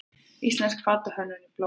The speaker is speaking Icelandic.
Íslensk fatahönnun í blóma